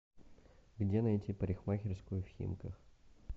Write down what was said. где найти парикмахерскую в химках